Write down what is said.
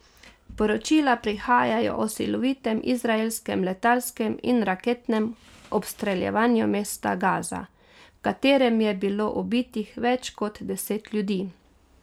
Poročila prihajajo o silovitem izraelskem letalskem in raketnem obstreljevanju mesta Gaza, v katerem je bilo ubitih več kot deset ljudi.